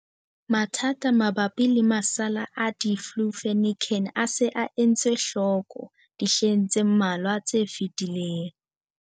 Mathata mabapi le masalla a diflufenican a se a etswe hloko dihleng tse mmalwa tse fetileng.